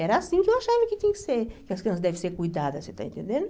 Era assim que eu achava que tinha que ser, que as crianças devem ser cuidadas, você está entendendo?